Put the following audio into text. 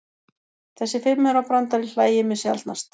Þessi fimmaurabrandari hlægir mig sjaldnast.